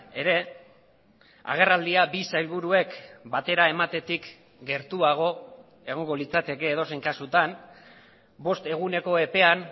ere agerraldia bi sailburuek batera ematetik gertuago egongo litzateke edozein kasutan bost eguneko epean